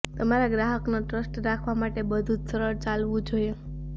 તમારા ગ્રાહકનો ટ્રસ્ટ રાખવા માટે બધું જ સરળ ચાલવું જોઈએ